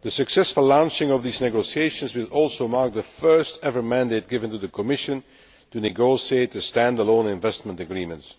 The successful launching of these negotiations will also mark the first ever mandate given to the Commission to negotiate a stand alone investment agreement